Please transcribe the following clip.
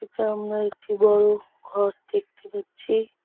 সামনে একটি বড়ো ঘর দেখতে পাচ্ছি।